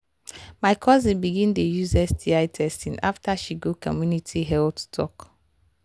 my cousin begin dey use sti testing after she go community health talk.